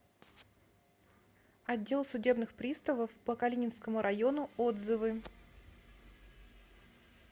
отдел судебных приставов по калининскому району отзывы